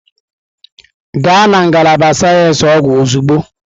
Gaa na ngalaba sayensị ọgwụ ozugbo!